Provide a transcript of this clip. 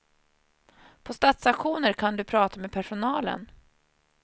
På stadsauktioner kan du prata med personalen.